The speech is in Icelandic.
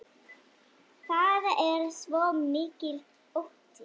Það er svo mikill ótti.